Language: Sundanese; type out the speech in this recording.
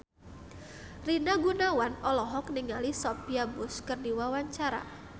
Rina Gunawan olohok ningali Sophia Bush keur diwawancara